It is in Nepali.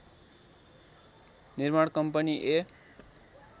निर्माण कम्पनी ए